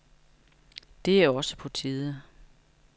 Det er også på tide.